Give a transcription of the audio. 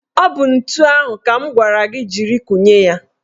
Ọ bụ ntu ahụ ka m gwara gị jiri kụnye ya?